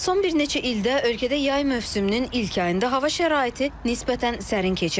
Son bir neçə ildə ölkədə yay mövsümünün ilk ayında hava şəraiti nisbətən sərin keçir.